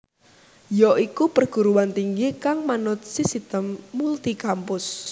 ya iku perguruan tinggi kang manut sisitem multi kampus